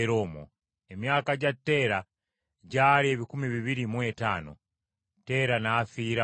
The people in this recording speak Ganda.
Emyaka gya Teera gyali ebikumi bibiri mu etaano; Teera n’afiira mu Kalani.